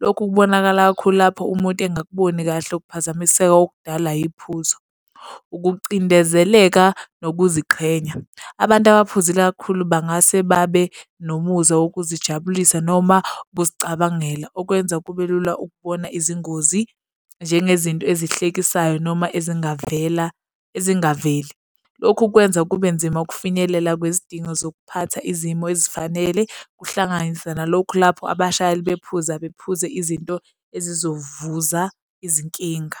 Lokhu kubonakala kakhulu lapho umuntu engakuboni kahle ukuphazamiseka okudala iphuzo. Ukucindezeleka nokuziqhenya. Abantu abaphuzile kakhulu bangase babe nomuzwa wokuzijabulisa noma ukuzicabangela okwenza kube lula ukubona izingozi njengezinto ezihlekisayo noma ezingavela, ezingaveli. Lokhu kwenza kube nzima ukufinyelela kwezidingo zokuphatha izimo ezifanele. Kuhlanganisa nalokhu lapho abashayeli bephuza bephuze izinto ezizovuza izinkinga.